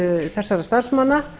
þessara starfsmanna